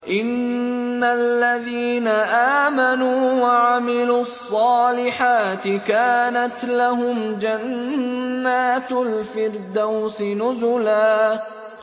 إِنَّ الَّذِينَ آمَنُوا وَعَمِلُوا الصَّالِحَاتِ كَانَتْ لَهُمْ جَنَّاتُ الْفِرْدَوْسِ نُزُلًا